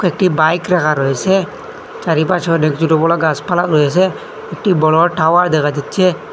একটি বাইক রাখা রয়েছে চারিপাশে অনেক ছোট বড়ো গাছপালা রয়েছে একটি বড়ো টাওয়ার দেখা যাচ্ছে।